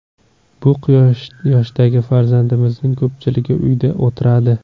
Bu yoshdagi farzandlarimizning ko‘pchiligi uyda o‘tiradi.